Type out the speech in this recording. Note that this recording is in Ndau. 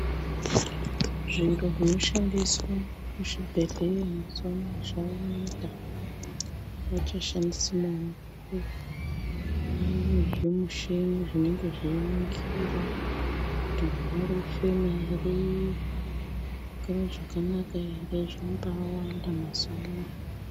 Zviro zvinoshandiswa muzvibhehleya mazuwa anaya zvawanda. Avachashandisi maoko vane zvimushini zvinenge zveiningira kuti mwana urikufema ere wakagara zvakanaka ere. Zvambawanda mazuwa anaya.